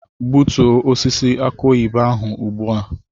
Gbutuo osisi aki oyibo ahụ ugbu a!